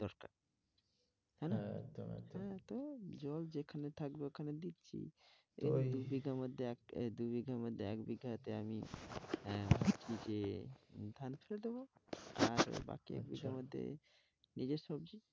ও জল যেখানে থাকবে ওখানে দেখছি ওই দু-বিঘার মধ্যে এক বিঘাতে আমি ধান ফেলে দেবো, আর বাকি মধ্যে নিজের সবজি